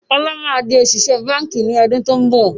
Ọlá má di òṣìṣẹ́ báńkì ni ọdún to ń bọ̀